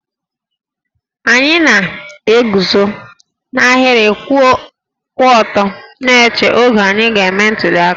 Anyị na-eguzo n'ahịrị kwụ ọtọ na-eche oge anyị ga-eme ntuli aka